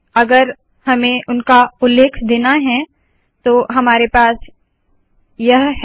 अगर हमें उनका उल्लेख देना है तो हमारे पास यह है